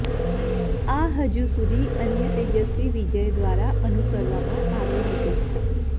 આ હજુ સુધી અન્ય તેજસ્વી વિજય દ્વારા અનુસરવામાં આવ્યું હતું